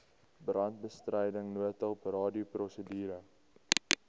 brandbestryding noodhulp radioprosedure